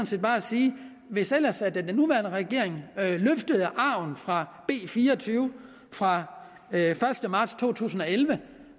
set bare sige hvis ellers den nuværende regering løftede arven fra b fire og tyve fra den første marts to tusind og elleve